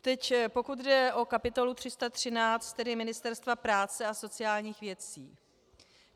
Teď pokud jde o kapitolu 313, tedy Ministerstva práce a sociálních věcí.